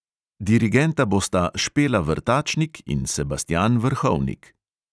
Dirigenta bosta špela vrtačnik in sebastjan vrhovnik.